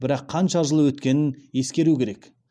бірақ қанша жыл өткенін ескеру керек